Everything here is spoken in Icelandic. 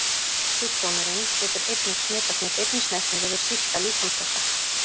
Sjúkdómurinn getur einnig smitast með beinni snertingu við sýkta líkamsvessa.